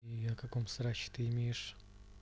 на каком сроке ты имеешь